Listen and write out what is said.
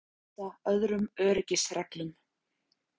Þá ber og að hlíta öðrum öryggisreglum.